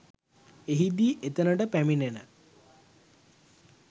එහිදී එතනට පැමිණෙන